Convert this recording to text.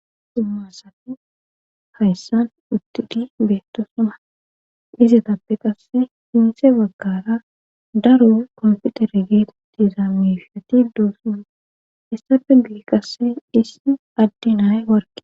Xummasati hayssan uttidi beettasuma dizetappe qasse hinse baggara daru konfitere geet dizaamishiati doosunu issafe geeqasse hissi addinay warge.